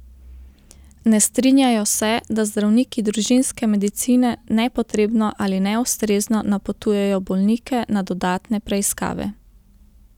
Ne strinjajo se, da zdravniki družinske medicine nepotrebno ali neustrezno napotujejo bolnike na dodatne preiskave.